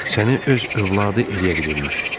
Səni öz övladı eləyə bilirmiş.